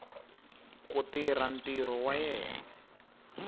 ku tirha ntirho wa yena